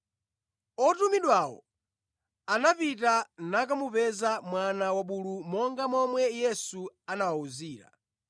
Otumidwawo anapita nakamupeza mwana wabulu monga momwe Yesu anawawuzira.